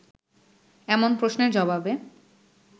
এমন প্রশ্নের জবাবে